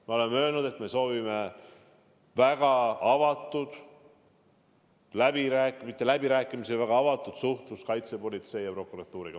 Me oleme öelnud, et me soovime väga avatud suhtlust kaitsepolitsei ja prokuratuuriga.